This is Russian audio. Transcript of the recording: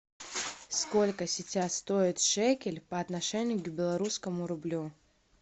сколько сейчас стоит шекель по отношению к белорусскому рублю